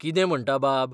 कितें म्हणटा बाब?